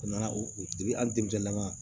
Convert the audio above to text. U nana u bi hali denmisɛnnaw